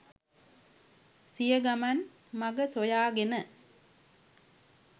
සිය ගමන් මග සොයා ගෙන